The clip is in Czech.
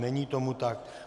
Není tomu tak.